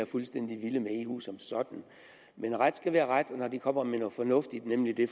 fuldstændig vilde med eu som sådan men ret skal være ret og når de kommer med noget fornuftigt nemlig det